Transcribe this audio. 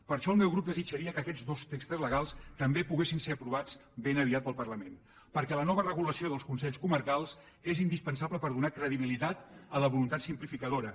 per això el meu grup desitjaria que aquest dos textos legals també poguessin ser aprovats ben aviat pel parlament de catalunya perquè la nova regulació dels consells comarcals és indispensable per donar credibilitat a la voluntat simplificadora